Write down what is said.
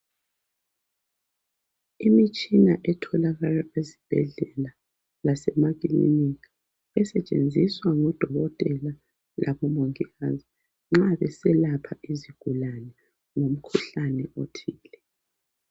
Imitshina etholakala ezibhedlela lasemakilinika esetshenziswa ngodokotela labomongikazi nxa beselapha izigulane umkhuhlane othile.